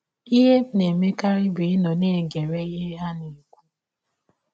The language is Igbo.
Ihe m na - emekarị bụ ịnọ na - egere ihe ha na - ekwụ.